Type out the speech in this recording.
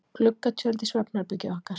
Gluggatjöld í svefnherbergið okkar.